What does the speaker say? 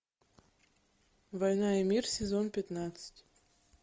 война и мир сезон пятнадцать